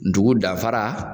Ntugu danfara